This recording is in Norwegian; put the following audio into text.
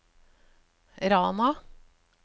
Rana